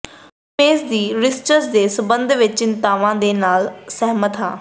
ਸ਼ਮੇਸ਼ ਦੀ ਰਿਸਰਚ ਦੇ ਸੰਬੰਧ ਵਿੱਚ ਚਿੰਤਾਵਾਂ ਦੇ ਨਾਲ ਸਹਿਮਤ ਹਾਂ